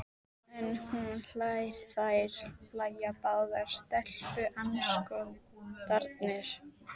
En hún hlær- þær hlæja báðar, stelpuandskotarnir.